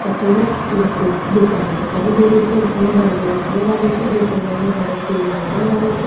अठे एक लकडी कि दुकान दिखाई दे रही छे जिमे डमरू नजर आ रिया छे जिको रंग हरो पिलो नजर आ रियो छे।